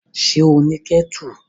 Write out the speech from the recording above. Ṣé ó ní kẹ́tù?